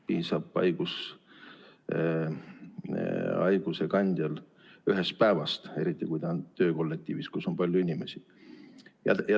Piisab haigusekandjal ühest päevast, eriti kui ta on töökollektiivis, kus on palju inimesi.